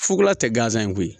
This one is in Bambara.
Fukola tɛ gansan in koyi